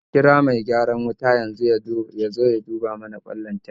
Mun kira mai gyaran wuta ya zo ya duba mana kwan lantarki